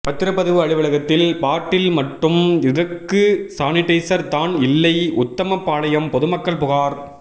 பத்திரப்பதிவு அலுவலகத்தில் பாட்டில் மட்டும் இருக்கு சானிடைசர் தான் இல்லை உத்தமபாளையம் பொதுமக்கள் புகார்